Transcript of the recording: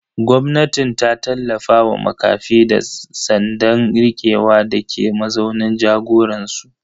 Gwamnatin ta tallafa wa makafi da tsandan rikewa dake mazaunin jagoransu.